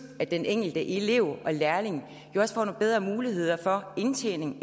at den enkelte elev og lærling jo også får nogle bedre muligheder for indtjening